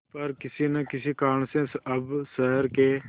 पर किसी न किसी कारण से अब शहर के